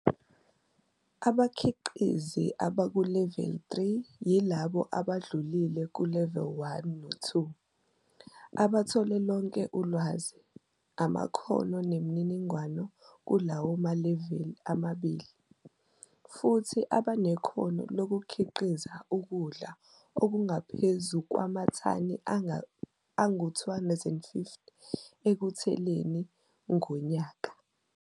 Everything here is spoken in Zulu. Abakhiqizi abakuleveli 3 yilabo abadlulile kuleveli 1 no-2, abathole lonke ulwazi, amakhono nemininingwane kulawo maleveli amabili, futhi abenekhono lokukhiqiza ukudla okungaphezu kwamathani angu-250 ehektheleni ngonyaka.